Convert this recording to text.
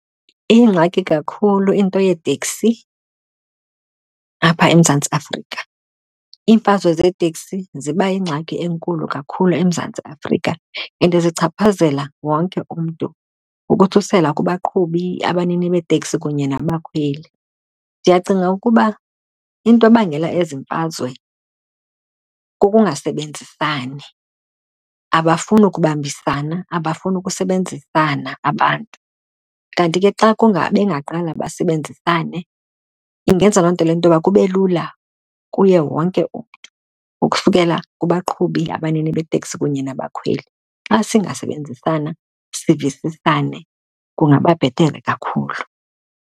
Iyingxaki kakhulu into yeeteksi apha eMzantsi Afrika. Iimfazwe zeeteksi ziba yingxaki enkulu kakhulu eMzantsi Afrika and zichaphazela wonke umntu ukusukela kubaqhubi, abanini beeteksi kunye nabakhweli. Ndiyacinga ukuba into ebangela ezi mfazwe kukungasebenzisani. Abafuni kubambisana, abafuni ukusebenzisana abantu. Kanti ke xa bengaqala basebenzisane ingenza loo nto le nto yoba kube lula kuye wonke umntu ukusukela kubaqhubi abanini beeteksi kunye nabakhweli. Xa singasebenzisana, sivisisane kungaba bhetere kakhulu.